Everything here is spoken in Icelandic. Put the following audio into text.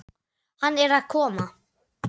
Hann er að koma!